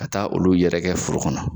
Ka taa olu yɛrɛgɛ foro kɔnɔ.